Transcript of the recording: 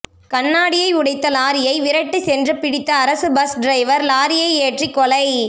கண்ணாடியை உடைத்த லாரியை விரட்டி சென்று பிடித்த அரசு பஸ் டிரைவர் லாரியை ஏற்றிக் கொலை